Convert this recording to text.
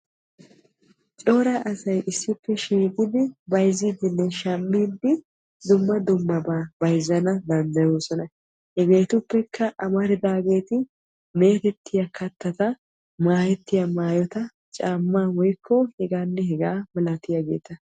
cora asay issippe shiiqidi bayizziiddinne shammiiddi dumma dummabaa bayizzana danddayoosona. hege etuppekka amaridaageeti meetettiya kattata maayettiya maayota caammaa woyikko hegaanne hegaa malatiyageeta.